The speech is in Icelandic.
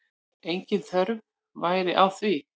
Engin þörf væri á því.